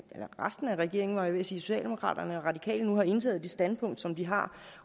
eller resten af regeringen var jeg ved socialdemokraterne og de radikale nu har indtaget det standpunkt som den har